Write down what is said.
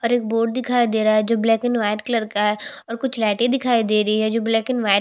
और एक बोर्ड दिखाई दे रहा है जो ब्लैक एंड व्हाइट कलर का है और कुछ लाइटें दिखाई दे रही है जो ब्लैक एंड व्हाइट --